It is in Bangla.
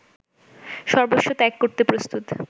সর্বস্ব ত্যাগ করতে প্রস্তুত